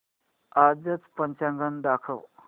आजचं पंचांग दाखव